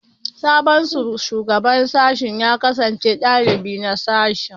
Sabon Shugaban Sashen ya kasance dalibi a sashen